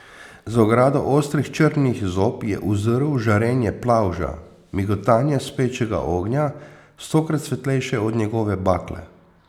Za ogrado ostrih črnih zob je uzrl žarenje plavža, migotanje spečega ognja, stokrat svetlejše od njegove bakle.